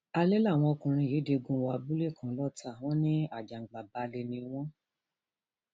alẹ làwọn ọkùnrin yìí digun wọ abúlé kan lọtà wọn ní àjàǹgbàbalẹ ni wọn